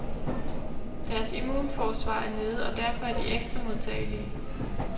Deres immunforsvar er nede, og derfor er de ekstra modtagelige.